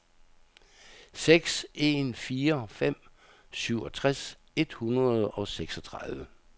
seks en fire fem syvogtres et hundrede og seksogtredive